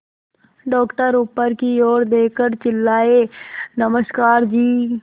doctor ऊपर की ओर देखकर चिल्लाए नमस्कार जी